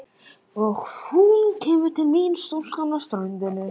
Og hún kemur til mín stúlkan á ströndinni.